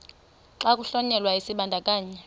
xa kuhlonyelwa isibandakanyi